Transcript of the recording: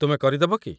ତୁମେ କରି ଦେବ କି?